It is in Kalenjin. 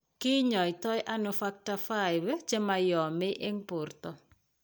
Ki nyaitonano Factor V chemoyome eng' borto?